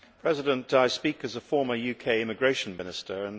Mr President, I speak as a former UK Immigration Minister.